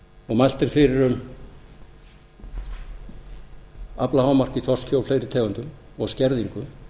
og mælt er fyrir um aflahámark í þorski og fleiri tegundum og skerðingu